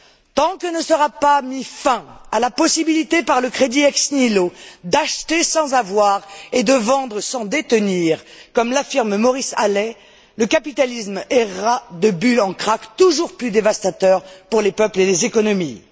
Tant que ne sera pas mis fin à la possibilité, par le crédit ex nihilo, d'acheter sans avoir et de vendre sans détenir, comme l'affirme Maurice Allais, le capitalisme errera de bulles en cracks, toujours plus dévastateurs pour les peuples et les économies.